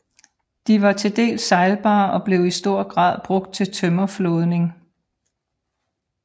De var til dels sejlbare og blev i stor grad brugt til tømmerflådning